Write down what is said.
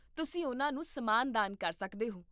ਤੁਸੀਂ ਉਹਨਾਂ ਨੂੰ ਸਮਾਨ ਦਾਨ ਕਰ ਸਕਦੇ ਹੋ